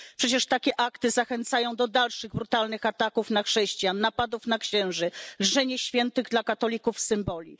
Przecież takie akty zachęcają do dalszych brutalnych ataków na chrześcijan, napadów na księży, lżenia świętych dla katolików symboli.